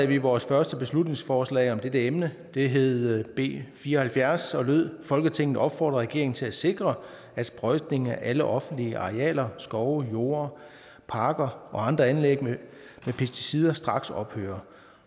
vi vores første beslutningsforslag om dette emne det hed b fire og halvfjerds og lød folketinget opfordrer regeringen til at sikre at sprøjtning af alle offentlige arealer skove jorde parker og andre anlæg med pesticider straks ophører